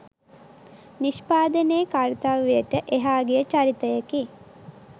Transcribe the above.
නිෂ්පාදනයේ කර්තව්‍යයට එහා ගිය චරිතයකි